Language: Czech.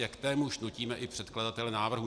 A k témuž nutíme i předkladatele návrhu.